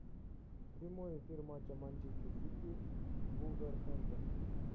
прямой эфир матча манчестер сити вулверхэмптон